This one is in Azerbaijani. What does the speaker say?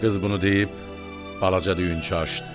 Qız bunu deyib balaca düyünçə açdı.